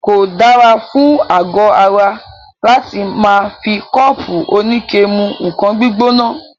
Kò dára fún àgọ ara láti máà fi kọ́ọ́pù oníke mú nǹkan gbígbóná.